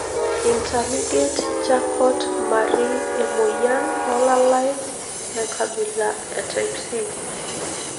Intermediate charcot marie emoyian olalae enkabila e type C?